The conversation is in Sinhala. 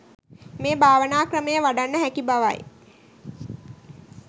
මේ භාවනා ක්‍රමය වඩන්න හැකි බවයි.